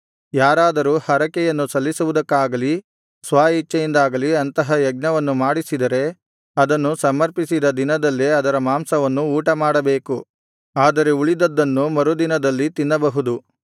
ಯಾರಾದರೂ ಹರಕೆಯನ್ನು ಸಲ್ಲಿಸುವುದಕ್ಕಾಗಲಿ ಸ್ವ ಇಚ್ಛೆಯಿಂದಾಗಲಿ ಅಂತಹ ಯಜ್ಞವನ್ನು ಮಾಡಿಸಿದರೆ ಅದನ್ನು ಸಮರ್ಪಿಸಿದ ದಿನದಲ್ಲೇ ಅದರ ಮಾಂಸವನ್ನು ಊಟಮಾಡಬೇಕು ಆದರೆ ಉಳಿದದ್ದನ್ನು ಮರುದಿನದಲ್ಲಿ ತಿನ್ನಬಹುದು